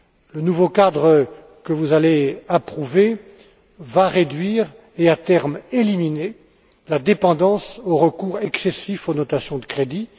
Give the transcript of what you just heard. Le nouveau cadre que vous allez approuver va réduire et, à terme, éliminer la dépendance au recours excessif aux notations de crédit.